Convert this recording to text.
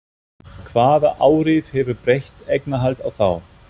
Hvaða áhrif hefur breytt eignarhald á þá?